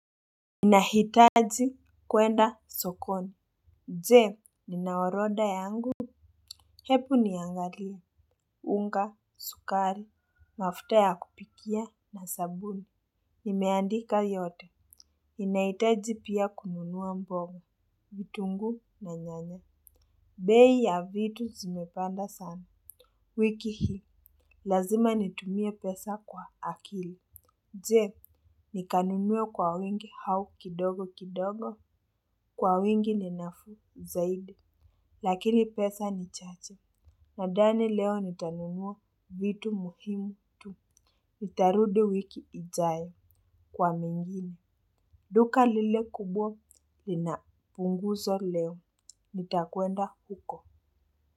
Inahitaji kwenda sokoni. Je, nina oroda yangu. Hepu niangalia. Unga, sukari, mafuta ya kupikia na sabuni. Nimeandika yote. Inahitaji pia kununua mboga. Vitunguu na nyanya. Bei ya vitu zimepanda sana. Wiki hii. Lazima nitumie pesa kwa akili. Je, nikanunue kwa wingi au kidogo kidogo. Kwa wingi ni nafuu zaidi. Lakini pesa ni chache. Nadani leo nitanunua vitu muhimu tu. Nitarudi wiki ijayo kwa mengini. Duka lile kubwa linapunguzwa leo. Nitakwenda huko.